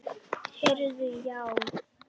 Heyrðu já.